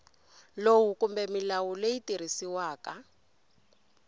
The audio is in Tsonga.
lowu kumbe milawu leyi tirhisiwaka